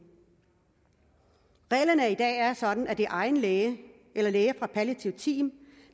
reglerne i dag er sådan at det er egen læge eller læger fra palliativt team